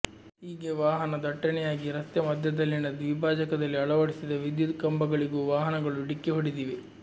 ಹೀಗೆ ವಾಹನ ದಟ್ಟಣೆಯಾಗಿ ರಸ್ತೆ ಮಧ್ಯದಲ್ಲಿನ ದ್ವಿಭಾಜಕದಲ್ಲಿ ಅಳವಡಿಸಿದ ವಿದ್ಯುತ್ ಕಂಬಗಳಿಗೂ ವಾಹನಗಳು ಡಿಕ್ಕಿ ಹೊಡೆದಿವೆ